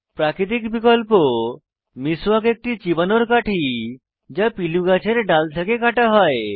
প্রাকৃতিক বিকল্প মিস্বাক একটি চিবানোর কাঠি যা পিলু গাছের ডাল থেকে কাটা হয়